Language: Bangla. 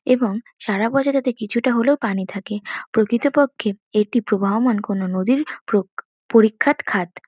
এবং সারা বছর তাতে কিছুটা হলেও পানি থাকে প্রকৃতপক্ষে এটি প্রবাহমান কোন নদীর প্রক পরিখাত খাদ।